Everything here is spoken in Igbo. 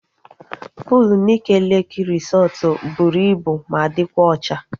Puul Nike Leeki resọtu bụrụ ibu ma dịkwa ocha